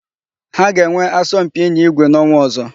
Ha ga-enwe asọmpi ịnya ígwé n'ọnwa ọ̀zọ́.